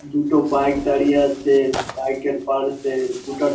দুটো বাইক দাঁড়িয়ে আছে বাইকের পাশে দুটা টো ।